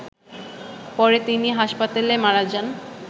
পরে তিনি হাসপাতালে মারা যান।